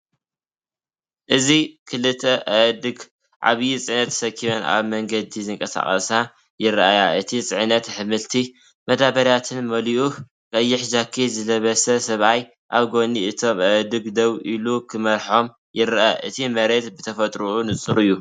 እዚ ክልተ ኣእዱግ ዓብዪ ፅዕነት ተሰኪመን ኣብ መንገዲ ዝንቀሳቐሳ ይረኣያ። እቲ ጽዕነት ኣሕምልትን መዳበርያታትን መሊኡ፡ ቀይሕ ጃኬት ዝለበሰ ሰብኣይ ኣብ ጎኒ እቶም ኣእዱግ ደው ኢሉ ክመርሖም ይረአ። እቲ መሬት ብተፈጥሮኡ ንጹር እዩ።